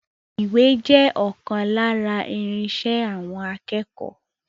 Ìwé jẹ́ ọkan lára irinṣẹ́ àwọn akẹ́kọ̀ọ́.